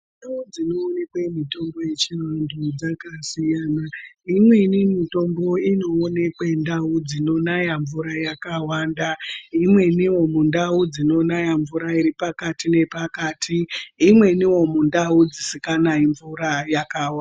Ndau dzinoonekwe mitombo yechivandu dzakasiyana, imweni mitombo inoonekwe ndaubdzinonaya mvura yakawanda , imweniwo mundau dzinonaya mvura iri pakati nepakati , imweniwo mundau dzisinganayi mvura yakawanda.